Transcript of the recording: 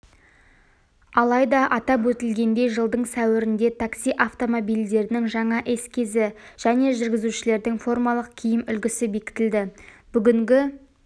алайда атап өтілгендей жылдың сәуірінде такси автомобильдерінің жаңа эскизі және жүргізушілердің формалық киім үлгісі бекітілді бүгінгі